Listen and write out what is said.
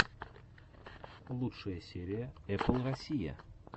лучшая серия эппл россия